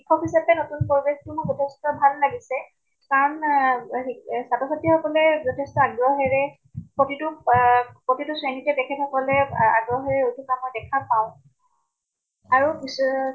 শিকোৱা পিছত হে নতুন পৰিবেশ টো যথেষ্ট ভাল লাগিছে। কাৰণ আহ শি ছাত্ৰ ছাত্ৰী সকলে যথেষ্ট আগ্ৰহেৰে প্ৰতিটো পাহ প্ৰতিটো শ্ৰেণীতে তেখেত সকলে আগ্ৰহেৰে ৰখি থকা দেখা পাওঁ। আৰু কিছু আহ